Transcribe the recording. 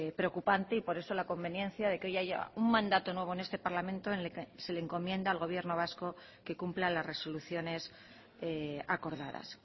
preocupante y por eso la conveniencia de que hoy haya un mandato nuevo en este parlamento en el que se le encomienda al gobierno vasco que cumpla las resoluciones acordadas